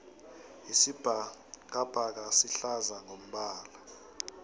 isibhakabhaka sihlaza ngombala